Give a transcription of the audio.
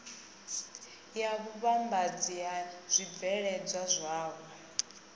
ya vhuvhambadzi ha zwibveledzwa zwavho